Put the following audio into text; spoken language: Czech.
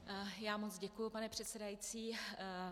Já moc děkuji, pane předsedající.